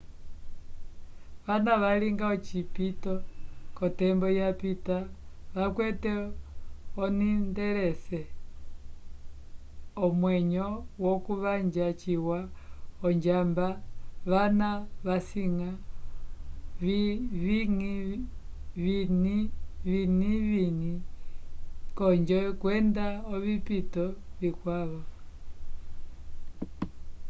vana valinga ocipito ko tembo ya pita vakwete oninteresse imwenyo ku vanja ciwa onjamba vana vasika vinivini konjo kwenda ovipito vikwavo